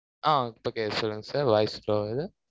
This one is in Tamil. ஆ, இப்போ கேட்குது sir voice slow வு